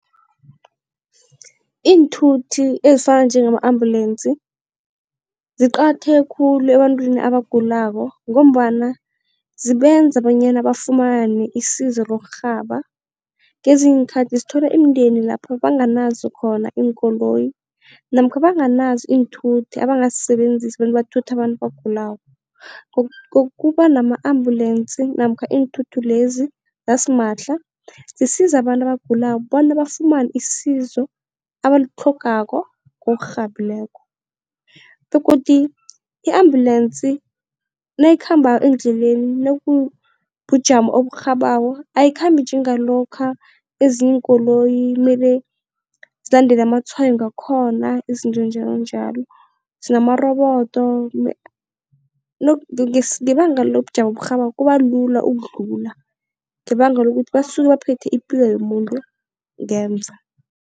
Iinthuthi ezifana njengama-ambulensi, ziqakatheke khulu ebantwini abagulako ngombana zibenza bonyana bafumane isizo lokurhaba. Ngezinye iinkhathi sithola imindeni lapho banganazo khona iinkoloyi namkha banganazo iinthuthi abangazisebenzisa bona bathutha abantu abagulako. Kuba nama-ambulensi namkha iinthuthi lezi zasimahla zisiza abantu abagulako bona bafumane isizo abalitlhogako ngokurhabileko begodu i-ambulensi nayikhambako endleleni nakunobujamo oburhabako ayikhambi njengalokha ezinye iinkoloyi ekumele zilandele amatshwayo ngakhona izinto njalonjalo. Zinamarobodo ngebanga lobujamo oburhabako kuba lula ukudlula ngebanga lokuthi basuke baphethe ipilo yomuntu ngemva.